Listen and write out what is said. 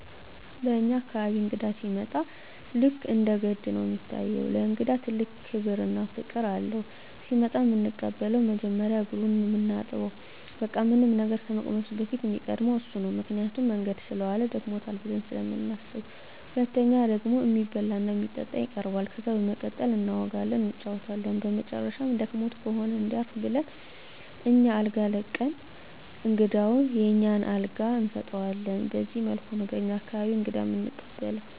በኛ አካባቢ እንግዳ ሲመጣ ልክ እንደ ገድ ነው እሚታየው። ለእንግዳ ትልቅ ክብር እና ፍቅር አለው። ሲመጣ እምንቀበለው መጀመሪያ እግሩን ነው ምናጥበው በቃ ምንም ነገር ከመቅመሱ በፊት እሚቀድመው እሱ ነው ምክንያቱም መንገድ ሰለዋለ ደክሞታል ብለን ስለምናስብ። ሁለተኛው ደግሞ እሚበላ እና እሚጠጣ ይቀርባል። ከዛ በመቀጠል እናወጋለን እንጫወታለን በመጨረሻም ደክሞት ከሆነ እንዲያርፍ ብለን አኛ አልጋ ለቀን እንግዳውን የኛን አልጋ እንሰጠዋለን በዚህ መልኩ ነው በኛ አካባቢ እንግዳ እምንቀበለው።